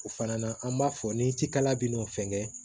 O fana an b'a fɔ ni cikala bɛ n'o fɛnkɛ